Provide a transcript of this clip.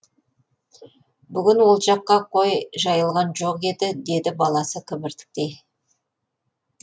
бүгін ол жаққа қой жайылған жоқ еді деді баласы кібіртіктей